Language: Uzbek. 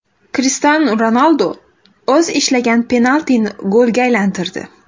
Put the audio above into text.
Krishtianu Ronaldu o‘z ishlagan penaltini golga aylantirdi.